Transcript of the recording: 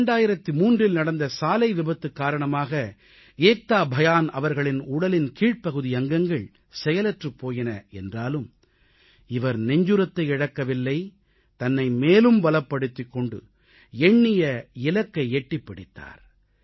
2003இல் நடந்த சாலை விபத்து காரணமாக ஏக்தா பயான் அவர்களின் உடலின் கீழ்ப்பகுதி அங்கங்கள் செயலற்றுப் போயின என்றாலும் இவர் நெஞ்சுரத்தை இழக்கவில்லை தன்னை மேலும் பலப்படுத்திக் கொண்டு எண்ணிய இலக்கை எட்டிப் பிடித்தார்